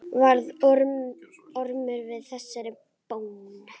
Varð Ormur við þessari bón.